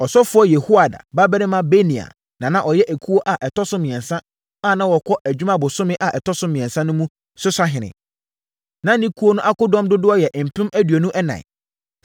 Ɔsɔfoɔ Yehoiada babarima Benaia na na ɔyɛ ekuo a ɛtɔ so mmiɛnsa a na wɔkɔ adwuma bosome a ɛtɔ so mmiɛnsa mu no so sahene. Na ne ekuo no akodɔm dodoɔ yɛ mpem aduonu ɛnan (24,000).